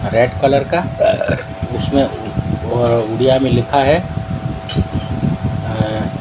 red colour का उसमें व उड़िया में लिखा है अह--